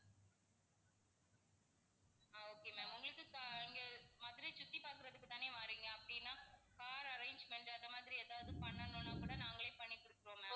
okay ma'am உங்களுக்கு இங்க மதுரைய சுத்தி பாக்கறதுக்குத்தானே வர்றீங்க அப்படின்னா car arrangement அந்த மாதிரி எதாவது பண்ணனுன்னா கூட நாங்களே பண்ணி கொடுத்துருவோம் ma'am